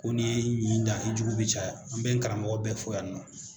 Ko n'i ye i ɲi da i jugu bɛ caya, an bɛ n karamɔgɔ bɛ fɔ yan nɔ.